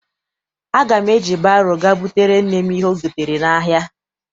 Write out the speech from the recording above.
Aga m eji baro ga butere nne m ihe o gotere n'ahia.